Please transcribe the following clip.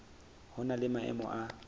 ho na le maemo a